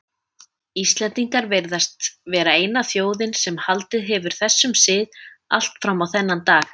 Íslendingar virðast vera eina þjóðin sem haldið hefur þessum sið allt fram á þennan dag.